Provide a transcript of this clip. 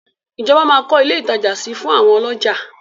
Ìjọba máa kọ́ ilé ìtajà si fún àwọn ọlọ́jà.